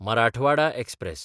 Marathwada express